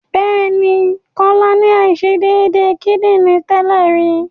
Bẹ́ẹ̀ ni, Kọ́lá ní àìṣedédé kídìrí tẹ́lè rí.